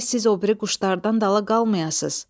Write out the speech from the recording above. Gərək siz o biri quşlardan dala qalmayasız."